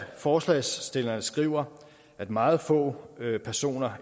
forslagsstillerne skriver at meget få personer